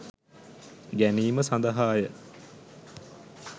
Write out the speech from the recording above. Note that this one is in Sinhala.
ගැනීම සඳහා ය.